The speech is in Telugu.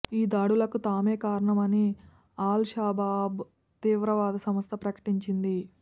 ఈ దాడులకు తామే కారణమని అల్ షబాబ్ తీవ్రవాద సంస్థ ప్రకటించింది